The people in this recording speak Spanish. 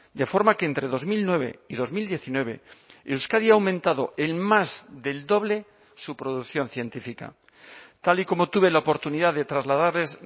de forma que entre dos mil nueve y dos mil diecinueve euskadi ha aumentado en más del doble su producción científica tal y como tuve la oportunidad de trasladarles